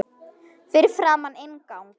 Fyrir framan inngang